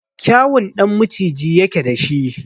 Kyawun ɗan maciji yake da shi.